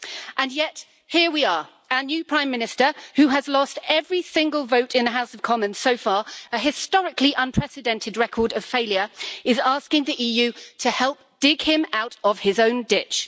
And yet here we are, our new Prime Minister who has lost every single vote in the House of Commons so far an historically unprecedented record of failure is asking the EU to help dig him out of his own ditch.